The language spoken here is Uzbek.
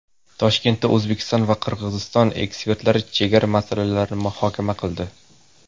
Toshkentda O‘zbekiston va Qirg‘iziston ekspertlari chegara masalalarini muhokama qildi.